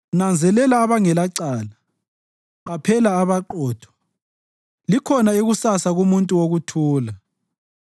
Nanzelela abangelecala, qaphela abaqotho. Likhona ikusasa kumuntu wokuthula.